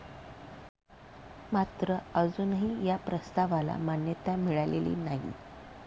मात्र अजूनही या प्रस्तावाला मान्यता मिळालेली नाही.